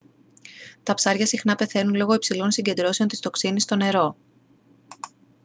τα ψάρια συχνά πεθαίνουν λόγω υψηλών συγκεντρώσεων της τοξίνης στο νερό